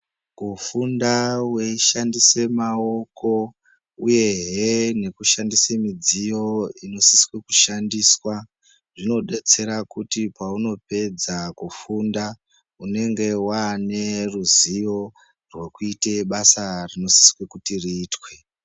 Kufunda weishandise maoko uyehe nekushandise midziyo inosiswe kushandiswa zvinodetsera kuti paunepedaz kufunda unenge waane ruzivo rwekuite basa rinosise kuti riitwe.